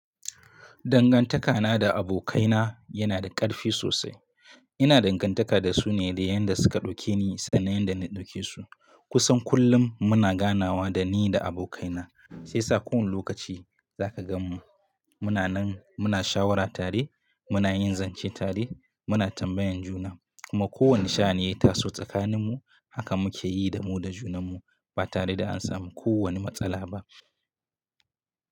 Dangantakana da abokaina yana da ƙarfi sosai. Ina dangantaka da su ne da yadda suka ɗauke ni sannan yadda na ɗauke su. Kusan kullum muna ganawa da ni da abokaina, sai sa kowane lokaci za ka gan mu muna nan muna shawarar tare, muna yin zance tare, muna tambayan juna kuma kowane sha'ani ya taso tsakanin mu haka muka yi da mu da junan mu ba tare da an samu kowane matsala ba.